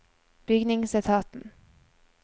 bygningsetaten